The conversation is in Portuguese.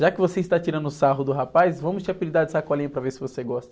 Já que você está tirando sarro do rapaz, vamos te apelidar de sacolinha para ver se você gosta.